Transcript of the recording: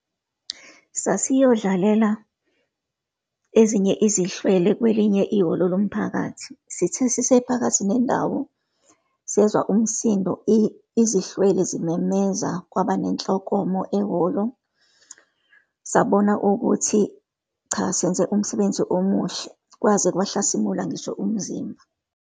Sasiyodlalela ezinye izihlwele kwelinye ihholo lomphakathi. Sithe sisephakathi nendawo, sezwa umsindo, izihlwele zimemeza, kwaba nenhlokomo ehholo. Sabona ukuthi cha, senze umsebenzi omuhle, kwaze kwahlasimula ngisho umzimba.